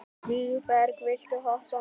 Vígberg, viltu hoppa með mér?